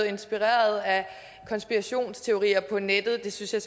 inspireret af konspirationsteorier på nettet synes jeg